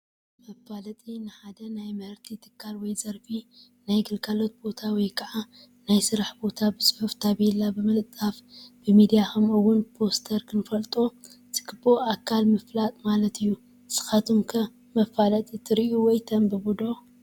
መፋለጢ፡- ንሓደ ናይ ምህርቲ ትካል ወይ ዘርፊ ፣ ናይ ግልጋሎት ቦታ ወይ ከዓ ናይ ስራሕ ቦታ ብፅሑፍ ታፔላ ብምልጣፍ፣ ብሚድያ ከምኡ ውን ብፖስተር ንኽፈልጦ ዝግበኦ ኣካል ምፍላጥ ማለት እዩ፡፡ ንስኻትኩም ከ መፋለጢትሪኡ ወይ ተንብቡ ዶ?